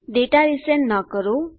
data resend ન કરો